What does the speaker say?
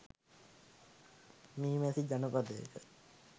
මී මැසි ජනපදයක